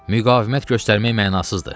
Müqavimət göstərmək mənasızdır.